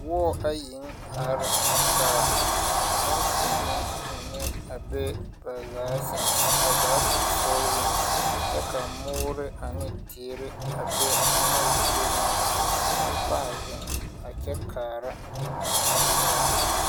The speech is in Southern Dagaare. Wɔɔ ayiŋ are kaa nempeɛne mine bee ba zaa seŋ, azaa sensoɔreŋ. Kyɛ ka moore ane teere a be a anaŋ zia ŋa. Bampaa zeŋ a kyɛ kaara a wɔɔr.